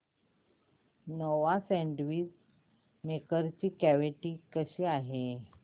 Nova sandwich maker ची quality कशी आहे